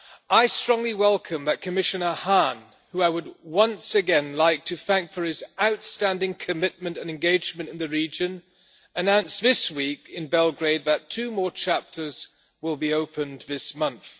I strongly welcome that Commissioner Hahn who I would once again like to thank for his outstanding commitment and engagement in the region announced this week in Belgrade that two more chapters will be opened this month.